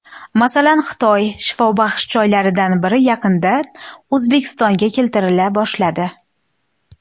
Masalan, Xitoy shifobaxsh choylaridan biri yaqindan O‘zbekistonga keltirila boshladi.